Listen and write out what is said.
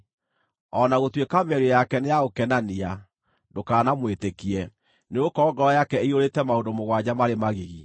O na gũtuĩka mĩario yake nĩ ya gũkenania, ndũkanamwĩtĩkie, nĩgũkorwo ngoro yake ĩiyũrĩte maũndũ mũgwanja marĩ magigi.